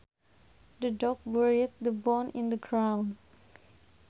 The dog buried the bone in the ground